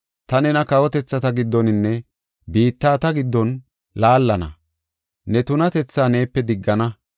Ta nena kawotethata giddoninne biittata giddon laallana; ne tunatethaa neepe diggana.